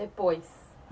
Depois?